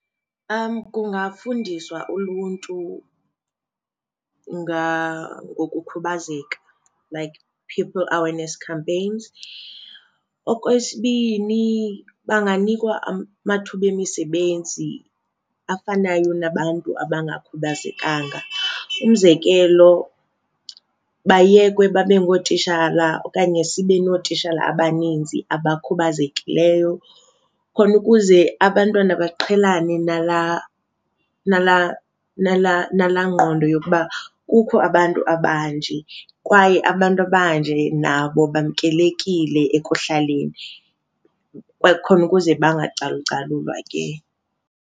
Kungafundiswa uluntu ngokukhubazeka like people awareness campaigns. Okwesibini, banganikwa amathuba emisebenzi afanayo nabantu abangakhubazekanga. Umzekelo bayekwe babe ngootishala okanye sibe nootishala abaninzi abakhubazekileyo khona ukuze abantwana baqhelane nalaa nalaa nalaa nalaa ngqondo yokuba kukho abantu abanje kwaye abantu abanje nabo bamkelekile ekuhlaleni, kwaye khona ukuze bacalucalulwe ke.